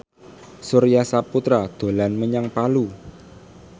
Surya Saputra dolan menyang Palu